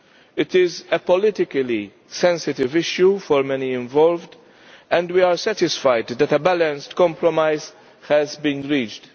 It is a politically sensitive issue for many involved, and we are satisfied that a balanced compromise has been reached.